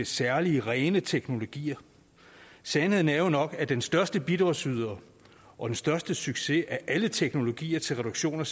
særlig rene teknologier sandheden er jo nok at den største bidragsyder og den største succes af alle teknologier til reduktion